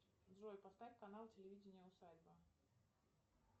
джой поставь канал телевидение усадьба